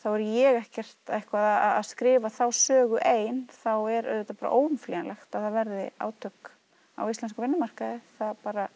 er ég ekkert að skrifa þá sögu ein þá er auðvitað bara óumflýjanlegt að það verði átök á íslenskum vinnumarkaði það